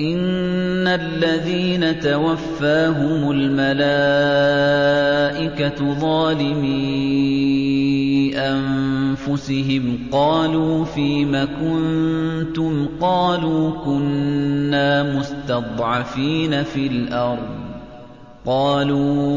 إِنَّ الَّذِينَ تَوَفَّاهُمُ الْمَلَائِكَةُ ظَالِمِي أَنفُسِهِمْ قَالُوا فِيمَ كُنتُمْ ۖ قَالُوا كُنَّا مُسْتَضْعَفِينَ فِي الْأَرْضِ ۚ قَالُوا